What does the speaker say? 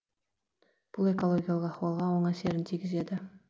бұл экологиялық ахуалға оң әсерін тигізеді